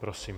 Prosím.